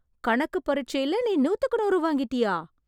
கணக்கு பரிட்சைல நீ நூத்துக்கு நூறு வாங்கிட்டியா...